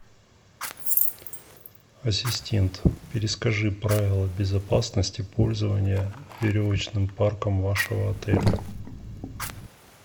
ассистент перескажи правила безопасности пользования веревочным парком вашего отеля